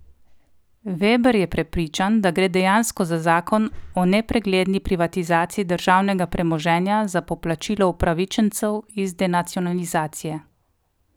Veber je prepričan, da gre dejansko za zakon o nepregledni privatizaciji državnega premoženja za poplačilo upravičencev iz denacionalizacije.